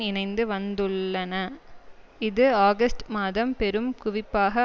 இணைந்து வந்துள்ளன இது ஆகஸ்ட் மாதம் பெரும் குவிப்பாக